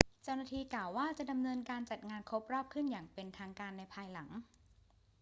เจ้าหน้าที่กล่าวว่า จะดำเนินการจัดงานครบรอบขึ้นอย่างเป็นทางการในภายหลัง